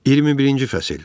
21-ci fəsil.